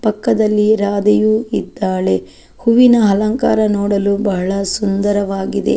ಪಕ್ಕದಲ್ಲಿ ರಾಧೆಯು ಇದ್ದಾಳೆ ಹೂವಿನ ಅಲಂಕಾರ ನೋಡಲು ಬಹಳ ಸುಂದರವಾಗಿದೆ.